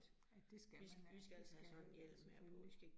At det skal man altså, selvfølgelig